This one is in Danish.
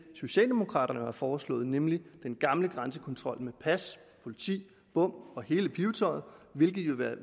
socialdemokraterne har foreslået nemlig den gamle grænsekontrol med pas politi bom og hele pibetøjet hvilket